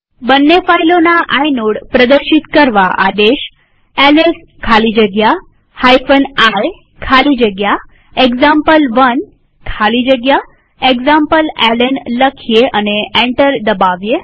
બંને ફાઈલોના આઇનોડ પ્રદર્શિત કરવા આદેશ એલએસ ખાલી જગ્યા i ખાલી જગ્યા એક્ઝામ્પલ1 ખાલી જગ્યા એક્ઝામ્પલેલ્ન લખીએ અને એન્ટર દબાવીએ